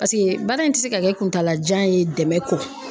Paseke baara in tɛ se ka kɛ kuntalajan ye dɛmɛ kɔ.